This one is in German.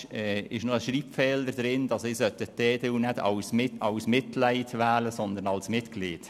Es geht darum, dass ein Traktandum vergessen worden ist.